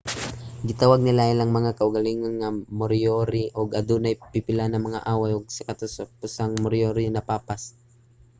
gitawag nila ang ilang mga kaugalingon nga moriori ug adunay pipila nga mga away ug sa katapusan ang moriori napapas